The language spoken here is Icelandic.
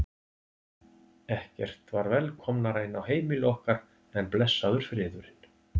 Ekkert var velkomnara inn á heimili okkar en blessaður friðurinn.